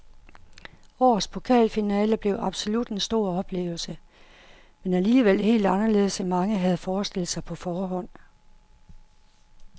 Årets pokalfinale blev absolut en stor oplevelse, men alligevel helt anderledes end mange havde forestillet sig på forhånd.